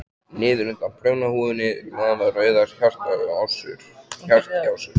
Niður undan prjónahúfunni lafa rauðar hártjásur.